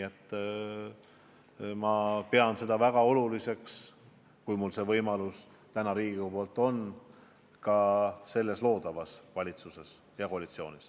Ma pean seda põhimõtet oluliseks, kui mulle see võimalus täna Riigikogus antakse, ka loodavas valitsuses ja koalitsioonis.